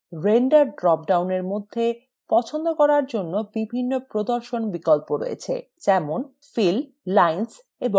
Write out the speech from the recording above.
render dropডাউনের মধ্যে পছন্দ করার জন্য বিভিন্ন প্রদর্শন বিকল্প রয়েছে যেমন: